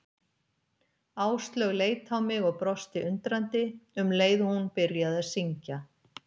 Áslaug leit á mig og brosti undrandi, um leið og hún byrjaði að syngja.